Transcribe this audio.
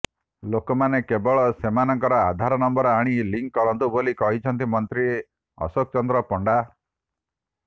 ଲୋକମାନେ କେବଳ ସେମାନଙ୍କର ଆଧାର ନମ୍ବର ଆଣି ଲିଙ୍କ୍ କରାନ୍ତୁ ବୋଲି କହିଛନ୍ତି ମନ୍ତ୍ରୀ ଅଶୋକ ଚନ୍ଦ୍ର ପଣ୍ଡା